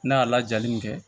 N'a y'a lajali min kɛ